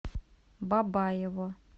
бабаево